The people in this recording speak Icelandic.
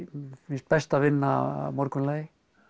finnst best að vinna að morgunlagi